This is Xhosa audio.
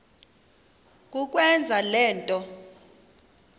kukwenza le nto